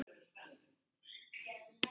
Valdís Ösp og Sigrún Ýr.